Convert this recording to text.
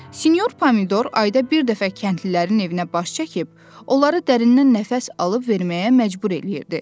Sinyor Pomidor ayda bir dəfə kəndlilərin evinə baş çəkib, onları dərindən nəfəs alıb-verməyə məcbur eləyirdi.